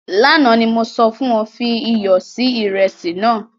Lánà ni mo sọ fun ọ, fi iyọ si iresi nàá.